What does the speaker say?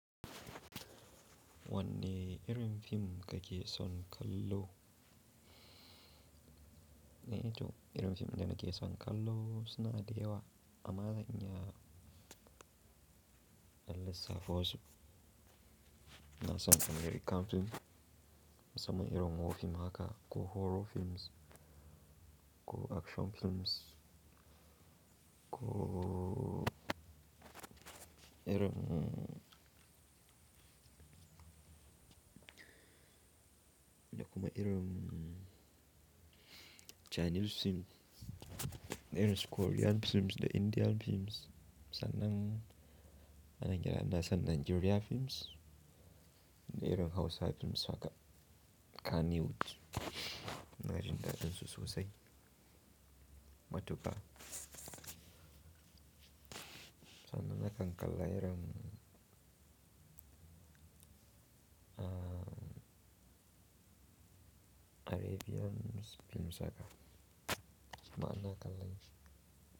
Wanne irin fim kake son kallo? Ee to irin fim da nake son kallo suna da yawa. Amma zan iya dan lissafa wasu in san American fim, musamman irin wat fim haka, ko horror films, ko action films, ko irin, da kuma irin Chinese films, da irin su Korean films da Indian films. Sannan anan gida ina san Nigeria films, da irin Hausa films haka Kannywood, na jin daɗin su sosai matuƙa. Sannan na kan kalla irin Arabian films haka. Kuma ina kallan.